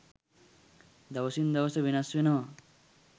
දවසින් දවස වෙනස් වෙනවා.